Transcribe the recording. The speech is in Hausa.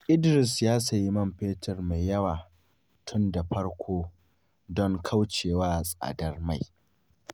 Idris ya sayi man fetur mai yawa tun da farko don kauce wa tsadar mai.